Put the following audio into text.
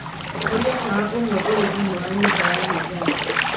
horia tawa ũmwe ũrĩ thĩinĩ wa nyũmba ya gwĩthamba